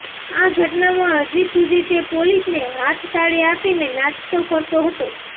આ ઘટનામાં હજી સુધી તે પોલીસને હાથતાળી આપીને નાસતો ફરતો હતો